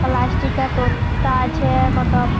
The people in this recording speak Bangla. প্লাস্টিকা তোত্তা আছেএ কত --